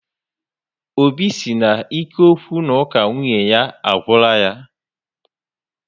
Óbị si na ike okwu na uka nwunye ya agwula yá